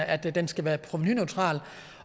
at den skal være provenuneutral